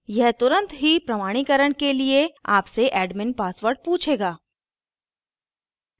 यह तुरंत ही प्रमाणीकरण के लिए आपसे admin password पूछेगा